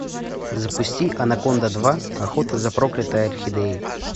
запусти анаконда два охота за проклятой орхидеей